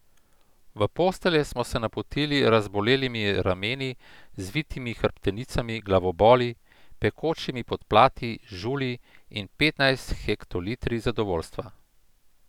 V postelje smo se napotili z razbolelimi rameni, zvitimi hrbtenicami, glavoboli, pekočimi podplati, žulji in petnajst hektolitri zadovoljstva.